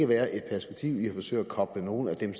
være et perspektiv i at forsøge at koble nogle af dem